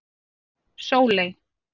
Sóley